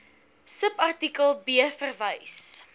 subartikel b verwys